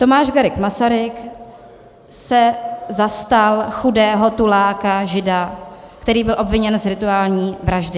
Tomáš Garrigue Masaryk se zastal chudého tuláka, Žida, který byl obviněn z rituální vraždy.